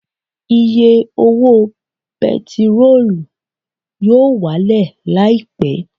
Iye owó bẹntiróò yóò wálẹ̀ Láìpẹ́